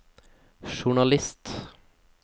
journalist